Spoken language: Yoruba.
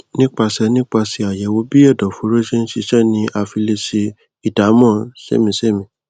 nípasẹ nípasẹ àyẹwò bí ẹdọfóró ṣe ń ṣiṣẹ sí ni a fi lè sẹ ìdámọ sémìísémìí